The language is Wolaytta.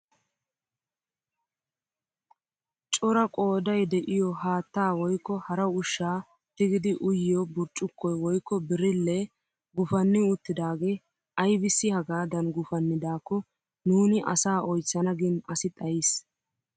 Cora qooday de'iyoo haattaa woykko hara ushshaa tiggidi uyiyoo burccukoy woykko birillee gupanni uttidagee aybissi hagaadan gupannidaakko nuuni asaa oychchana gin asi xayiis!